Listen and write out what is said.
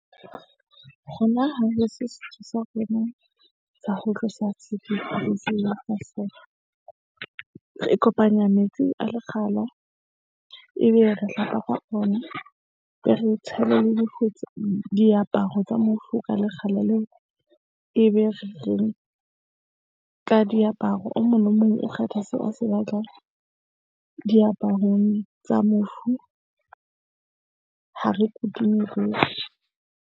Rona ha re se setso sa rona sa ho tlosa re kopanya metsi a lekgala ebe re hlapa ka ona. Be re tshele le diaparo tsa mofu ka lekgala leo e be re ka diaparo. O mong le mong o kgetha seo a se batlang diaparong tsa mofu. Ha re kudu .